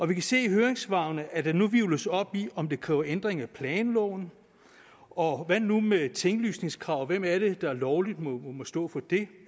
vi kan se i høringssvarene at der nu hvirvles op i om det kræver en ændring af planloven og hvad nu med tinglysningskravene er det der lovligt må stå for det